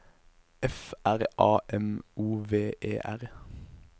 F R A M O V E R